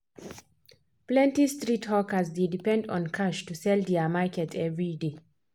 plenty street hawkers dey depend on cash to sell their market every day.